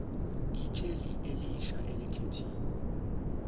ikheli elisha elikhethiwe